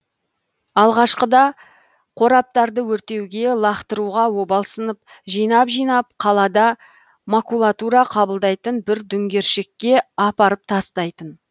алғашқыда қораптарды өртеуге лақтыруға обалсынып жинап жинап қалада макулатура қабылдайтын бір дүңгершекке апарып тастайтын